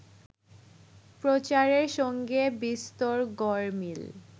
প্রচারের সঙ্গে বিস্তর গরমিল